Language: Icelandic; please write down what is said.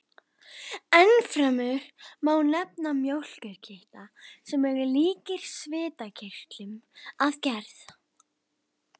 Ennfremur má nefna mjólkurkirtla, sem eru líkir svitakirtlum að gerð.